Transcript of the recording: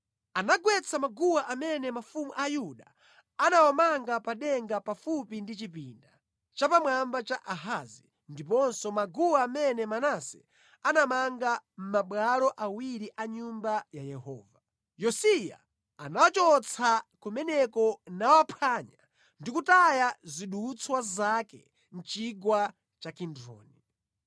Anagwetsa maguwa amene mafumu a Yuda anawamanga pa denga pafupi ndi chipinda chapamwamba cha Ahazi, ndiponso maguwa amene Manase anamanga mʼmabwalo awiri a Nyumba ya Yehova. Yosiya anawachotsa kumeneko nawaphwanya ndi kutaya zidutswa zake mʼChigwa cha Kidroni.